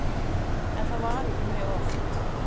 En það var ekki mjög oft.